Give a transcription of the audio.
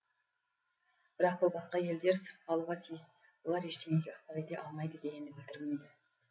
бірақ бұл басқа елдер сырт қалуға тиіс олар ештеңеге ықпал ете алмайды дегенді білдірмейді